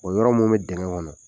O yɔrɔ mun be digɛ kɔnɔ